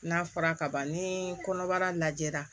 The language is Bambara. N'a fɔra kaban ni kɔnɔbara lajɛra